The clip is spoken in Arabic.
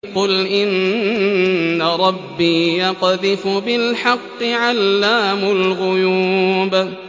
قُلْ إِنَّ رَبِّي يَقْذِفُ بِالْحَقِّ عَلَّامُ الْغُيُوبِ